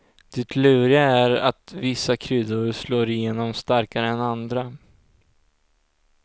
Det luriga är att vissa kryddor slår igenom starkare än andra.